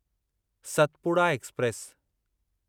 Satpura express